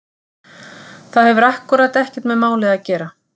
Það hefur akkúrat ekkert með málið að gera!